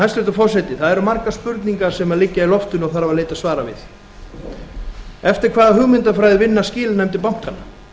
hæstvirtur forseti það eru margar spurningar sem liggja í loftinu og þarf að leita svara við eftir hvaða hugmyndafræði vinna skilanefndir bankanna